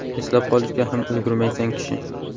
Eslab qolishga ham ulgurmaysan kishi.